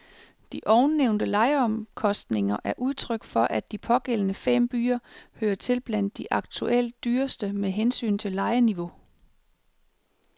De ovennævnte lejeomkostninger er udtryk for, at de pågældende fem byer hører til blandt de aktuelt dyreste med hensyn til lejeniveau.